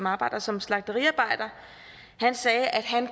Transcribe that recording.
arbejder som slagteriarbejder sagde at han